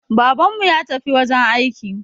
Babanmu ya tafi wajen aiki